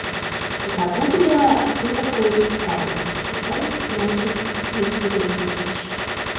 загуглила кто такой сталин сталин иосиф виссарионович